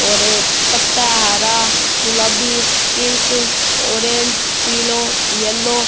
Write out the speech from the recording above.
और ये पत्ता है हरा गुलाबी पिंक ऑरेंज पिलो येलो --